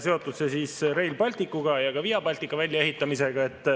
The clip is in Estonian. See on seotud Rail Balticu ja ka Via Baltica väljaehitamisega.